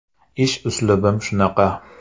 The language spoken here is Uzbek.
Ish uslubim shunaqa.